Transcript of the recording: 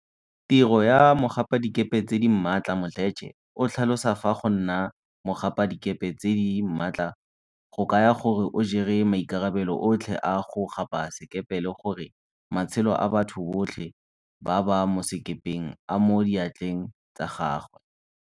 Tiro ya mogapadikepe tse di maatla Mdletshe o tlhalosa fa go nna mogapadikepe tse di maatla go kaya gore o jere maikarabelo otlhe a go gapa sekepe le gore matshelo a batho botlhe ba ba mo sekepeng a mo diatleng tsa gagwe.